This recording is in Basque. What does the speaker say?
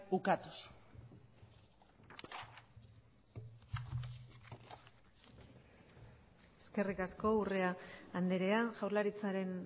ukatuz eskerrik asko urrea andrea jaurlaritzaren